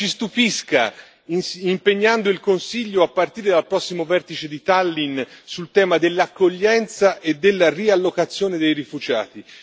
Ci stupisca impegnando il Consiglio, a partire dal prossimo vertice di Tallinn, sul tema dell'accoglienza e della riallocazione dei rifugiati.